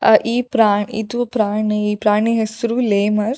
ಆ ಈ ಪ್ರಾಣಿ ಇದು ಪ್ರಾಣಿ ಈ ಪ್ರಾಣಿ ಹೆಸ್ರು ಲೇಮರ್ಸ್ .]